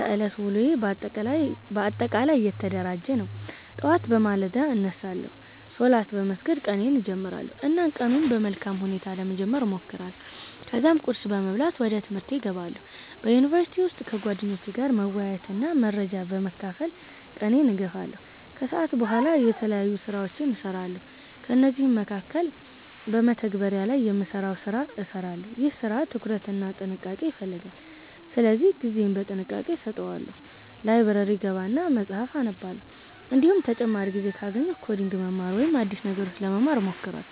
የዕለት ተዕለት ውሎዬ በአጠቃላይ የተደራጀ ነው። ጠዋት በማለዳ እነሳለሁ፣ ሶላት በመስገድ ቀኔን እጀምራለሁ እና ቀኑን በመልካም ሁኔታ ለመጀመር እሞክራለሁ። ከዚያም ቁርስ በመብላት ወደ ትምህርቴ እገባለሁ። በዩኒቨርሲቲ ውስጥ ከጓደኞቼ ጋር መወያየትና መረጃ በመካፈል ቀኔን እገፋለሁ። ከሰዓት በኋላ የተለያዩ ስራዎችን እሰራለሁ፤ ከእነዚህ መካከል በመተግበሪያ ላይ የምሰራውን ሰራ እሰራለሁ። ይህ ስራ ትኩረት እና ጥንቃቄ ይፈልጋል ስለዚህ ጊዜዬን በጥንቃቄ አሰተዋለሁ። ላይብረሪ እገባና መፀሀፍ አነባለሁ፤ እንዲሁም ተጨማሪ ጊዜ ካገኘሁ ኮዲንግ መማር ወይም አዲስ ነገሮች ለመማር እሞክራለሁ።